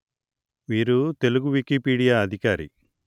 వీరు తెలుగు వికీపీడియా అధికారి